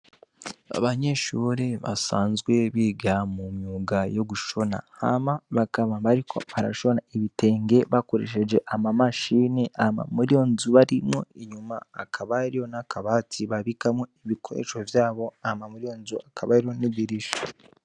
Abanyeshuri basanzwe biga mu myuga yo gushona hama bakaba mbariko aparashona ibitengee bakoresheje ama mashini ama muriyo nzubarimwo inyuma akabariyo n'akabati babikamwo ibikoresho vyabo ama muriyo nzu akabariyo n'ibirisha.